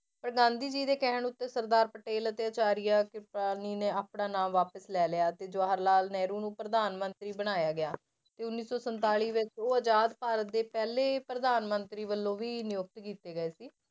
ਪਰ ਗਾਂਧੀ ਜੀ ਦੇ ਕਹਿਣ ਉੱਤੇ ਸਰਦਾਰ ਪਟੇਲ ਅਤੇ ਆਚਾਰੀਆ ਨੇ ਆਪਣਾ ਨਾਂ ਵਾਪਿਸ ਲੈ ਲਿਆ ਅਤੇ ਜਵਾਹਰ ਲਾਲ ਨਹਿਰੂ ਨੂੰ ਪ੍ਰਧਾਨ ਮੰਤਰੀ ਬਣਾਇਆ ਗਿਆ ਤੇ ਉੱਨੀ ਸੌ ਸੰਤਾਲੀ ਵਿੱਚ ਉਹ ਆਜ਼ਾਦ ਭਾਰਤ ਦੇ ਪਹਿਲੇ ਪ੍ਰਧਾਨ ਮੰਤਰੀ ਵੱਲੋਂ ਵੀ ਨਿਯੁਕਤ ਕੀਤੇ ਗਏ ਸੀ।